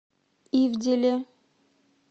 ивделе